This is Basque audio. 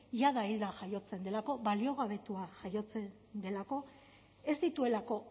jada hilda jaiotzen delako baliogabetua jaiotzen delako ez dituelako